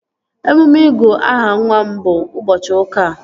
Emume ịgụ aha nwa m bụ ụbọchị ụka a